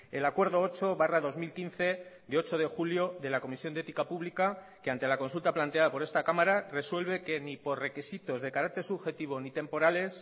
el acuerdo ocho barra dos mil quince de ocho de julio de la comisión de ética pública que ante la consulta planteada por esta cámara resuelve que ni por requisitos de carácter subjetivo ni temporales